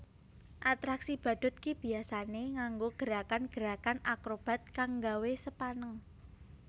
Atraksi badhut biyasané nganggo gerakan gerakan akrobat kang nggawé sepaneng